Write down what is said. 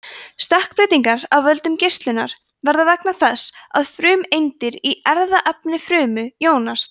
stökkbreytingar af völdum geislunar verða vegna þess að frumeindir í erfðaefni frumu jónast